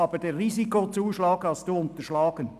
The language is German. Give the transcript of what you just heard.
Aber den Risikozuschlag haben Sie unterschlagen.